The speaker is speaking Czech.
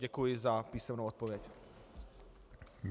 Děkuji za písemnou odpověď.